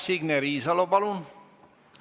Signe Riisalo, palun!